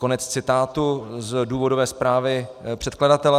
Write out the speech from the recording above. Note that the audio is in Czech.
Konec citátu z důvodové zprávy předkladatele.